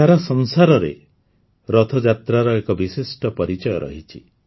ସାରା ସଂସାରରେ ରଥଯାତ୍ରାର ଏକ ବିଶିଷ୍ଟ ପରିଚୟ ରହିଛି